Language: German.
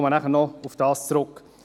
Ich komme nachher noch darauf zurück.